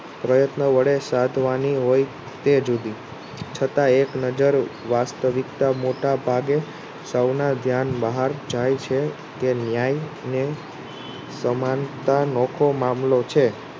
પ્રયત્ન વળે સાધવાની હોય તે જુદી છતાંય એક નજર વસ્સ્તવીક્તા મોટા ભાગે સૌના ધ્યાન બહાર જાય છે કે ન્યાય ને સમાનતા નોખો મામલો છે